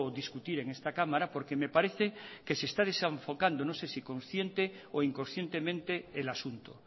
discutir en esta cámara porque me parece que se está desenfocando no sé si consciente o inconscientemente el asunto